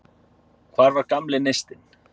Hvar var gamli neistinn?